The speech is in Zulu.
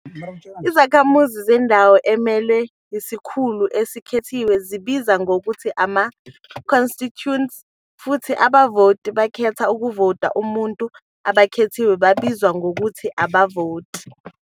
Izakhamuzi zendawo emelwe yisikhulu esikhethiwe zibizwa ngokuthi "ama-constituents", futhi abavoti abakhetha ukuvotela umuntu abakhethiwe babizwa ngokuthi "abavoti."